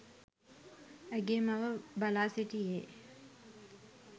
ඇගේ මව බලා සිටියේ